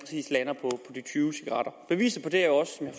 tyve cigaretter beviset på det er